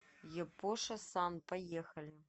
япоша сан поехали